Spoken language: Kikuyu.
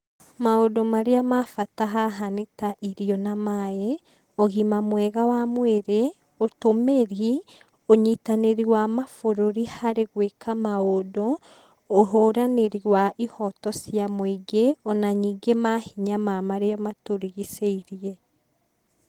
Maũndũ marĩa ma bata haha nĩ ta irio na maĩ, ũgima mwega wa mwĩrĩ, ũtũmĩri, ũnyitanĩri wa mabũrũri harĩ gwĩka maũndũ, ũhũranĩri wa ihoto cia mũingĩ, ona nyingĩ mahinya ma marĩa matũrigicĩirie.